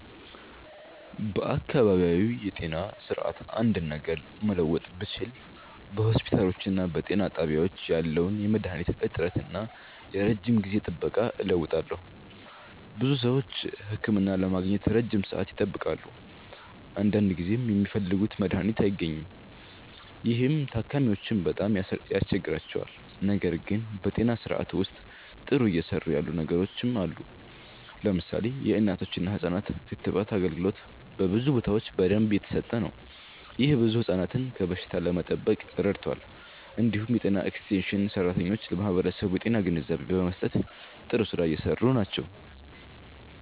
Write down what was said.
በአካባቢያዊ የጤና ስርዓት አንድ ነገር መለወጥ ብችል በሆስፒታሎችና በጤና ጣቢያዎች ያለውን የመድሃኒት እጥረት እና የረጅም ጊዜ ጥበቃ እለውጣለሁ። ብዙ ሰዎች ህክምና ለማግኘት ረጅም ሰዓት ይጠብቃሉ፣ አንዳንድ ጊዜም የሚፈልጉት መድሃኒት አይገኝም። ይህ ታካሚዎችን በጣም ያስቸግራል። ነገር ግን በጤና ስርዓቱ ውስጥ ጥሩ እየሰሩ ያሉ ነገሮችም አሉ። ለምሳሌ የእናቶችና ህፃናት ክትባት አገልግሎት በብዙ ቦታዎች በደንብ እየተሰጠ ነው። ይህ ብዙ ህፃናትን ከበሽታ ለመጠበቅ ረድቷል። እንዲሁም የጤና ኤክስቴንሽን ሰራተኞች ለማህበረሰቡ የጤና ግንዛቤ በመስጠት ጥሩ ስራ እየሰሩ ናቸው።